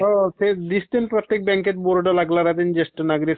हो दिसते ना ते प्रत्येक बॅंकेत बोर्ड लागले ज्येष्ठ नागरीक